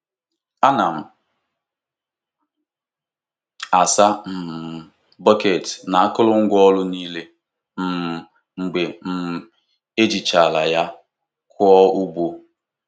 Ana m asa um bọket na akurungwa ọru niile um mgbe um ejirichara ya koo ugbo.